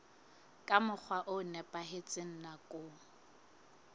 ka mokgwa o nepahetseng nakong